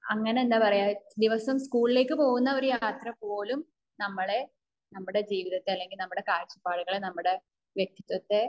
എന്താ പറയ് ദിവസം സ്കൂളിലേക്ക് പോകുന്ന യാത്ര പോലും നമ്മളെ നമ്മുടെ ജീവിതത്തെ അല്ലെങ്കിൽ കാഴ്ചപ്പാടുകളെ നമ്മുടെ വ്യക്തിത്വത്തെ